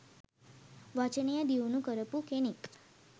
වචනය දියුණු කරපු කෙනෙක්.